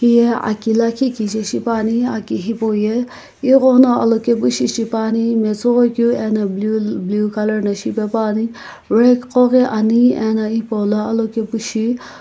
heye aki lakhi kijae shipane aki hipou ye eghono alokae bi shipane matsoghoi keu ano blue blue colour shipaepane rag gkoghi ane ano hipou lo alokae pu shi --